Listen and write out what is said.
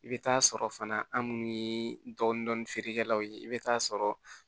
I bɛ taa sɔrɔ fana an minnu ye dɔɔnin dɔɔnin feerekɛlaw ye i bɛ taa sɔrɔ